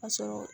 Ka sɔrɔ